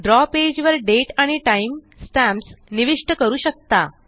द्रव पेज वरDate आणि टाइम स्टॅम्प्स निविष्ट करू शकता